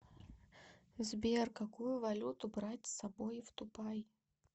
сбер какую валюту брать с собой в дубай